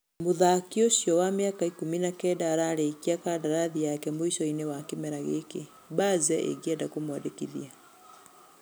Mũthaki ũcio wa mĩaka ikũmi na kenda ararĩkia kandarathi yake mũicoinĩ wa kĩmera giki, Baze ĩngienda kũmũandĩkithia.